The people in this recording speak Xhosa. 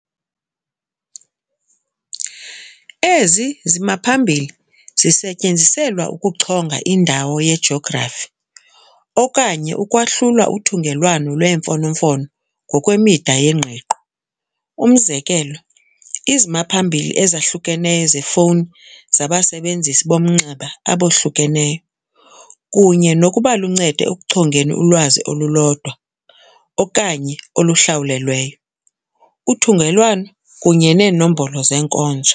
Ezi zimaphambili zisetyenziselwa ukuchonga indawo yejografi, okanye ukwahlula uthungelwano lwemfonomfono ngokwemida yengqiqo. Umzekelo, izimaphambili ezahlukeneyo zefowuni zabasebenzisi bomnxeba abahlukeneyo, kunye nokuba luncedo ekuchongeni ulwazi olulodwa, okanye oluhlawulweyo, uthungelwano kunye neenombolo zenkonzo.